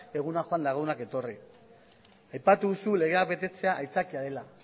egunak joan eta egunak etorri aipatu duzu legea betetzea aitzakia dela